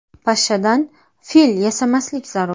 Pashshadan fil yasamaslik zarur.